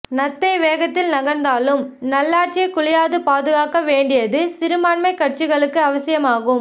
நத்தை வேகத்தில் நகர்ந்தாலும் நல்லாட்சியை குலையாது பாதுகாக்கவேண்டியது சிறுபான்மை கட்சிகளுக்கு அவசியமாகும்